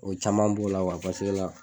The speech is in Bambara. O caman b'o la paseke la